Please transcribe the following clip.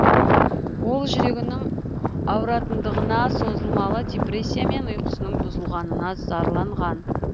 ол жүрегінің ауыратындығына созылмалы депрессия мен ұйқысының бұзылғанына зарланған